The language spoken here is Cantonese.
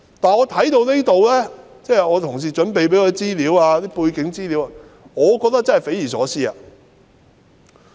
但是，看到同事替我準備的背景資料後，我真的覺得匪夷所思。